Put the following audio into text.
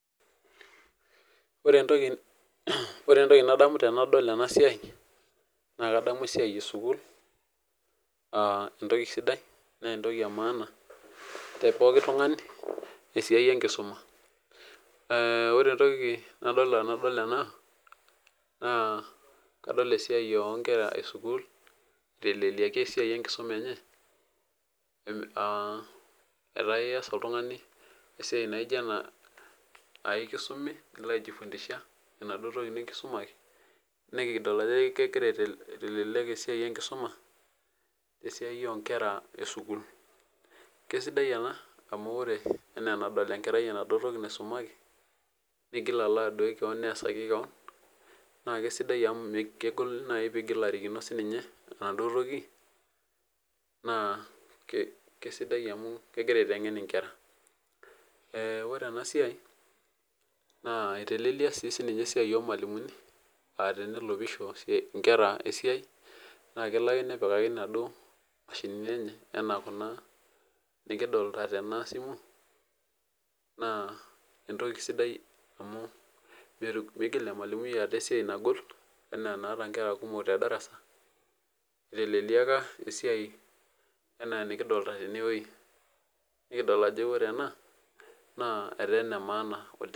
Ore entoki nadamu tenadol enasiai naa kadamu esiai esukul naa entoki sidai naa entoki emaana tepoki tungani . Ore entoki nadol tene naa kadol esiai onkera esukul iteleleiaki esiai enye . Kesidai ena amu ore enaa enadol enkerai esiai naisumaki neigil aisumaki kewon naa kegol nai pelo arikino ninye naa kesidai amu kegira aitengen inkera . Ore enasiai naa iteleleyia sininye esiai ormwalimuni naa kelo ake nepikaki inaduo mashinini enye anaa kuna naa entoki sidai.